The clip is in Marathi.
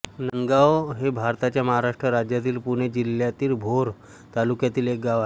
नांदगाव हे भारताच्या महाराष्ट्र राज्यातील पुणे जिल्ह्यातील भोर तालुक्यातील एक गाव आहे